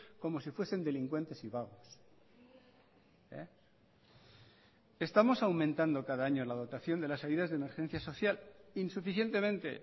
como si fuesen delincuentes y vagos estamos aumentando cada año la dotación de las ayudas de emergencia social insuficientemente